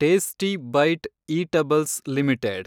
tasty bite eatables limited